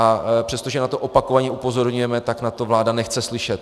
A přestože na to opakovaně upozorňujeme, tak na to vláda nechce slyšet.